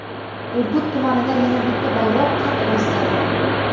Urgut tumanida yana bitta bayroq qad rostladi.